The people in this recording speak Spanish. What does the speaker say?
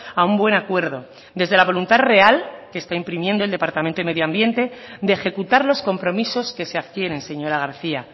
a un buen acuerdo desde la voluntad real se está imprimiendo el departamento medio ambiente de ejecutar los compromisos que se adquieren señora garcía